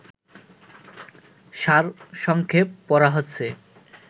সারসংক্ষেপ পড়া হচ্ছে